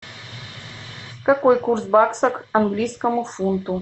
какой курс бакса к английскому фунту